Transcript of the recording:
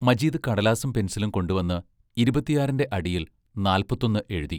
മജീദ് കടലാസും പെൻസിലും കൊണ്ടുവന്ന് ഇരുപത്തിയാറിന്റെ അടിയിൽ നാല്പത്തൊന്ന് എഴുതി.